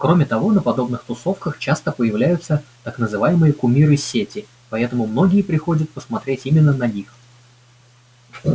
кроме того на подобных тусовках часто появляются так называемые кумиры сети поэтому многие приходят посмотреть именно на них